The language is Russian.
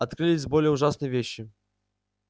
открылись более ужасные вещи